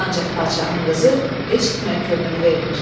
Ancaq padşahın qızı heç kimə könül vermir.